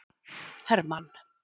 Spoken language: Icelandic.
Hermann